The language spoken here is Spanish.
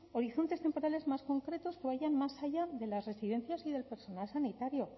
horizontes temporales más concretos que vayan más allá de las residencias y del personal sanitario